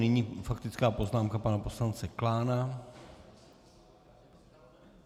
Nyní faktická poznámka pana poslance Klána.